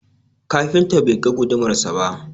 Kafinta bai ga gudumarsa ba.